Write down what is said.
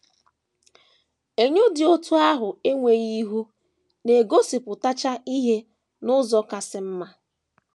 Enyo dị otú ahụ enweghị ihu na - egosipụtacha ihe n’ụzọ kasị mma.